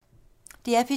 DR P2